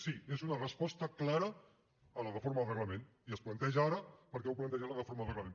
sí és una resposta clara a la reforma del reglament i es planteja ara perquè heu plantejat la reforma del reglament